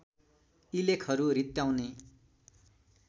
यी लेखहरू रित्ताउने